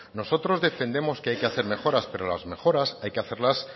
nosotros defendemos que hay que hacer mejoras pero las mejoras hay que hacerlas